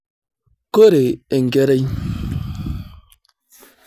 Koree enkerai?